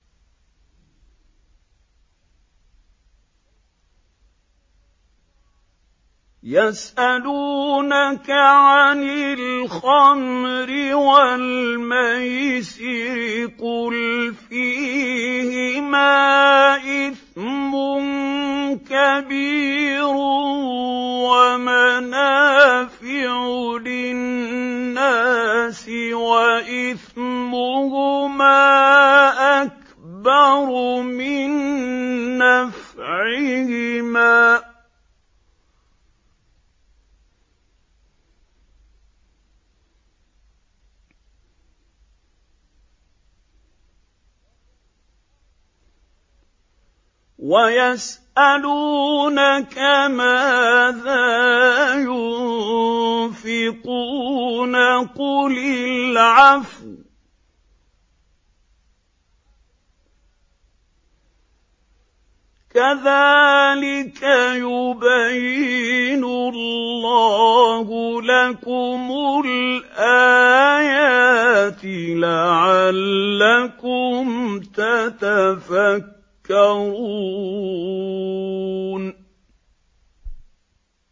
۞ يَسْأَلُونَكَ عَنِ الْخَمْرِ وَالْمَيْسِرِ ۖ قُلْ فِيهِمَا إِثْمٌ كَبِيرٌ وَمَنَافِعُ لِلنَّاسِ وَإِثْمُهُمَا أَكْبَرُ مِن نَّفْعِهِمَا ۗ وَيَسْأَلُونَكَ مَاذَا يُنفِقُونَ قُلِ الْعَفْوَ ۗ كَذَٰلِكَ يُبَيِّنُ اللَّهُ لَكُمُ الْآيَاتِ لَعَلَّكُمْ تَتَفَكَّرُونَ